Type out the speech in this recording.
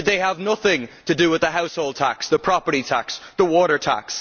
Did they have nothing to do with the household tax, the property tax, the water tax?